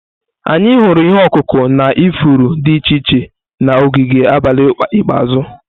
Anyị hụrụ ihe ọkụkụ na ifuru dị iche iche na ogige abalị ikpeazụ.